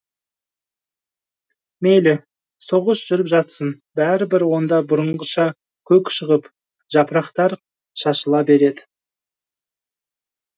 мейлі соғыс жүріп жатсын бәрібір онда бұрынғыша көк шығып жапырақтар шашыла береді